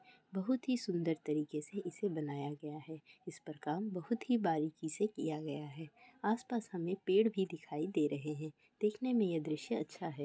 बहुत ही सुंदर तरीके इसे बनाया गया है इसपर काम बहुत ही बारीकी सी किया गया है आस-पास हमें पेड़ भी दिखाई दे रहे है देखने में ये दृश्य अच्छा है।